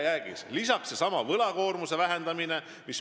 Lisaks on minu meelest oluline seesama võlakoormuse vähendamine.